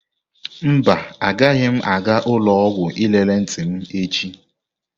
Mba, agaghị m aga ụlọ ọgwụ lelee ntị m echi.